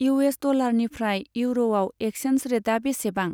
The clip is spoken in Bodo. इउ एस डलारनिफ्राय इउर'आव एक्सचेन्ज रेटा बेसेबां?